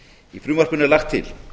í frumvarpinu er lagt til